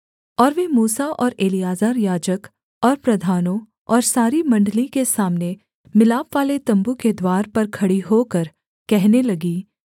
और वे मूसा और एलीआजर याजक और प्रधानों और सारी मण्डली के सामने मिलापवाले तम्बू के द्वार पर खड़ी होकर कहने लगीं